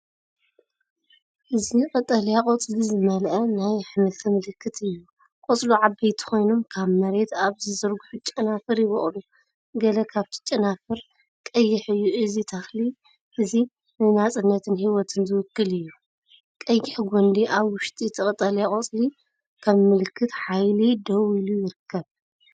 እዚ ቀጠልያ ቆጽሊ ዝመልአ ናይ ኣሕምልቲ ምልክት እዩ። ቆጽሉ ዓበይቲ ኮይኖም ካብ መሬት ኣብ ዝዝርግሑ ጨናፍር ይበቁሉ፣ ገለ ካብቲ ጨናፍር ቀይሕ እዩ። እዚ ተኽሊ እዚ ንናጽነትን ህይወትን ዝውክል እዩ። ቀይሕጕንዲ ኣብ ውሽጢ እቲ ቀጠልያ ቆጽሊ ከም ምልክትሓይሊ ደው ኢሉይርከብ።